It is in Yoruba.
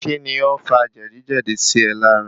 Kí ni ó fa jẹ̀díjẹ̀dí sí e lára.?